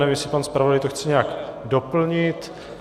Nevím, jestli pan zpravodaj to chce nějak doplnit.